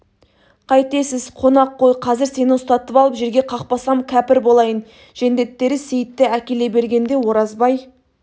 қайтесіз қонақ қой қазір сені ұстатып алып жерге қақпасам кәпір болайын жендеттері сейітті әкеле бергенде оразбай